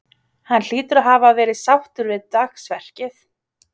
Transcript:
Hann hlýtur að hafa verið sáttur við dagsverkið?